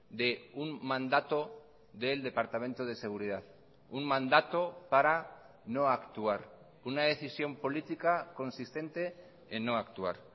de un mandato del departamento de seguridad un mandato parano actuar una decisión política consistente en no actuar